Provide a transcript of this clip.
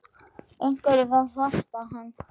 Einhver yrði að passa hann.